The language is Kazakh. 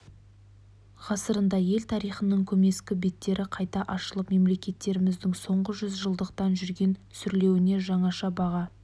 ғасырында ел тарихының көмескі беттері қайта ашылып мемлекетіміздің соңғы жүз жылдықта жүрген сүрлеуіне жаңаша баға